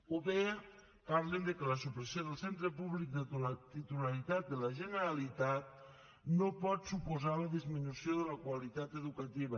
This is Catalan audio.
o bé parlen que la supressió del centre públic de titularitat de la generalitat no pot suposar la disminució de la qualitat educativa